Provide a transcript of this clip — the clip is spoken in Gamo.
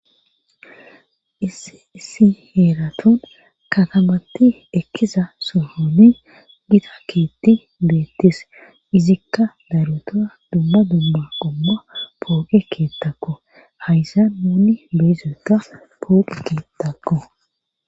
issi heeraton katabatti ekkiza sohoni gita keetti beettis izikka larutoa dumma dumma omma pooqe keettakku haysan muunni beezoka pooqe keettakku